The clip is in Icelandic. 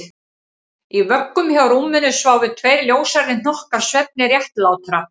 Í vöggum hjá rúminu sváfu tveir ljóshærðir hnokkar svefni réttlátra